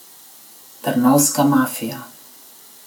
Trnovska mafija.